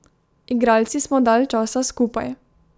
Igralci smo dalj časa skupaj.